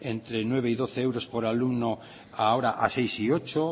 de entre nueve y doce euros por alumno ahora a seis y ocho